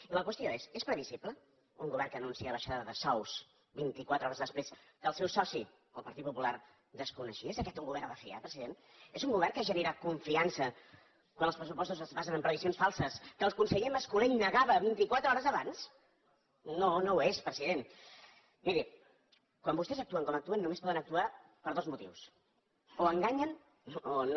i la qüestió és és previsible un govern que anuncia abaixada de sous vint i quatre hores després que el seu soci el partit popular desconeixia és aquest un govern de fiar president és un govern que genera confiança quan els pressupostos es basen en previsions falses que el conseller mas colell negava vint i quatre hores abans miri quan vostès actuen com actuen només poden actuar per dos motius o enganyen o no